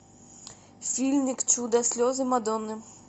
фильмик чудо слезы мадонны